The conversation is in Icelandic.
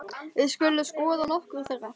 Við skulum skoða nokkur þeirra